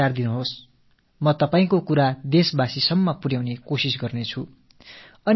நான் உங்கள் கருத்துக்களை நாட்டு மக்களிடம் கொண்டு சேர்க்கிறேன்